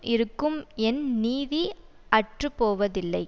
இருக்கும் என் நீதி அற்றுப்போவதில்லை